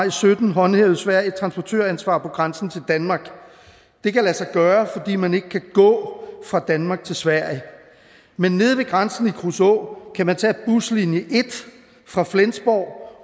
og sytten håndhævede sverige et transportøransvar på grænsen til danmark det kan lade sig gøre fordi man ikke kan gå fra danmark til sverige men nede ved grænsen i kruså kan man tage buslinje en fra flensborg